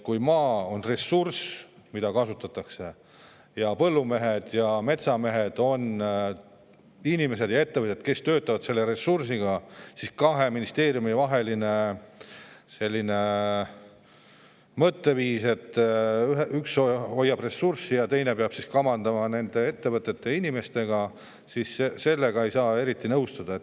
Kui maa on ressurss, mida kasutatakse, ja põllumehed ja metsamehed on inimesed ja ettevõtted, kes töötavad selle ressursiga, siis kahe ministeeriumi puhul selline mõtteviis, et üks hoiab ressurssi ja teine peab kamandama nende ettevõtete ja inimestega – sellega ei saa kuidagi nõustuda.